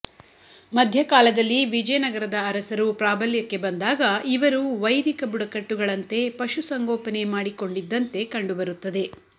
ಮಧ್ಯಕಾಲದಲ್ಲಿ ವಿಜಯನಗರದ ಅರಸರು ಪ್ರಾಬಲ್ಯಕ್ಕೆ ಬಂದಾಗ ಇವರೂ ವೈದಿಕ ಬುಡಕಟ್ಟುಗಳಂತೇ ಪಶುಸಂಗೋಪನೆ ಮಾಡಿಕೊಂಡಿದ್ದಂತೆ ಕಂಡುಬರುತ್ತದೆ